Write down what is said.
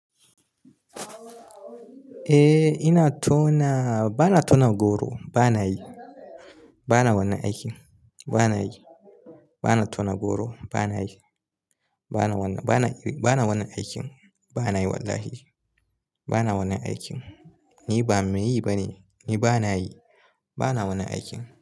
Eh ina tona, bana tona goro, bana yi. Bana wannan aikin. Bana yi. Bana tona goro, bana yi. Bana wannan, bana yi, bana wannan aikin. Bana yi wallahi. Bana wannan aikin. Ni ba mai yi bane. Ni bana yi. Bana wannan aikin.